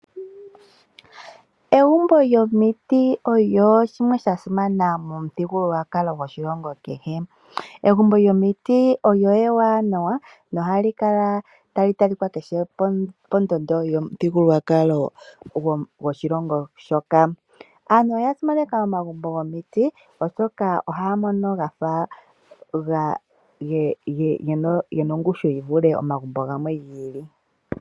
Egumbo lyomiti olyo shimwe sha simana momuthigululwakalo goshilongo kehe. Egumbo lyomiti olyo ewanawa noha likala tali talikwa keshe pondondo yomuthigululwakalo goshilongo shoka. Aantu oya simaneka omagumbo gomiti oshoka oha ya mono gafa ge na ongushu yi vule omagumbo gamwe gi ili.